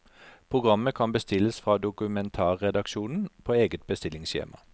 Programmet kan bestilles fra dokumentarredaksjonen på eget bestillingsskjema.